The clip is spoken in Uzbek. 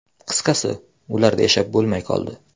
Qisqasi, ularda yashab bo‘lmay qoldi.